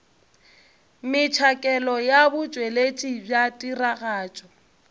metšhakelo ya botšweletši bja tiragatšo